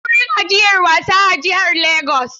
Akwai wurin ajiyar wasa a jihar Legas.